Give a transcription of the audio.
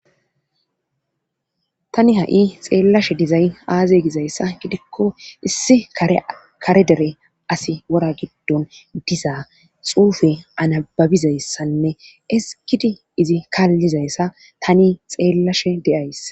tani ha7i xeellashe dizay aaze gizayssa gidikko issi kare dere asi wora giddon dizaa xuufe anababizayssanne eskidi izi kaallizayssa tani xeellashe de7ays